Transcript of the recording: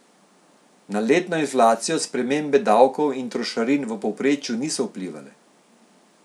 Na letno inflacijo spremembe davkov in trošarin v povprečju niso vplivale.